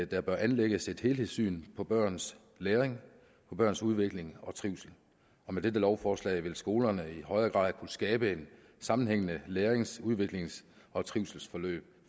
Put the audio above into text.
der bør anlægges et helhedssyn på børns læring på børns udvikling og trivsel og med dette lovforslag vil skolerne i højere grad kunne skabe et sammenhængende lærings udviklings og trivselsforløb